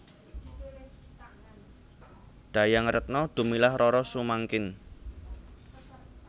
Dayang Retno Dumilah Roro Sumangkin